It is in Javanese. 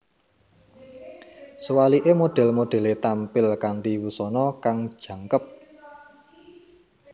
Suwalike model modele tampil kanthi wusana kang jangkep